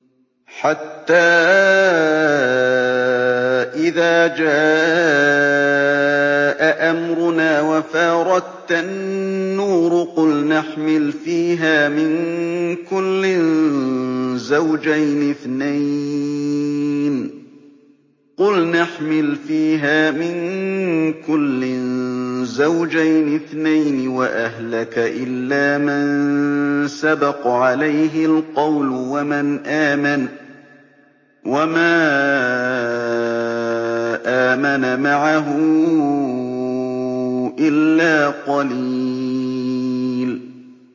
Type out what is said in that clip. حَتَّىٰ إِذَا جَاءَ أَمْرُنَا وَفَارَ التَّنُّورُ قُلْنَا احْمِلْ فِيهَا مِن كُلٍّ زَوْجَيْنِ اثْنَيْنِ وَأَهْلَكَ إِلَّا مَن سَبَقَ عَلَيْهِ الْقَوْلُ وَمَنْ آمَنَ ۚ وَمَا آمَنَ مَعَهُ إِلَّا قَلِيلٌ